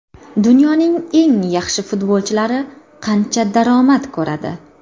Dunyoning eng yaxshi futbolchilari qancha daromad ko‘radi?.